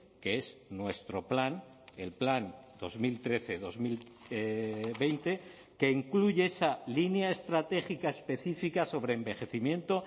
que es nuestro plan el plan dos mil trece dos mil veinte que incluye esa línea estratégica específica sobre envejecimiento